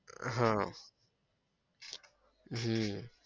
હા હમ